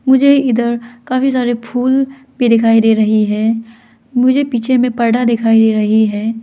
मुझे इधर काफी सारे फूल भी दिखाई दे रहे हैं मुझे पीछे में पर्दा दिखाई दे रहे हैं।